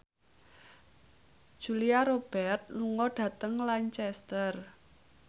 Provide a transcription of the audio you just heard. Julia Robert lunga dhateng Lancaster